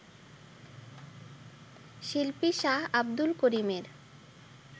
শিল্পী শাহ আব্দুল করিমের